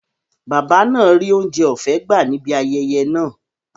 Bàbá náà ríi oúnjẹ ọ̀fẹ́ gbà á ní ibi ayẹyẹ náà